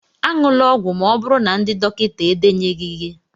añula ọgwụ Ma oburu na ndị dọkịta edenyeghi gi